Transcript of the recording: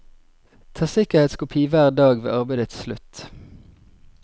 Ta sikkerhetskopi hver dag ved arbeidets slutt.